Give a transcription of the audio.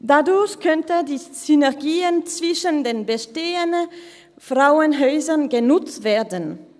– Dadurch könnten die Synergien zwischen den bestehenden Frauenhäusern genutzt werden.